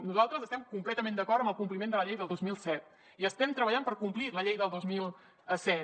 nosaltres estem completament d’acord amb el compliment de la llei del dos mil set i estem treballant per complir la llei del dos mil set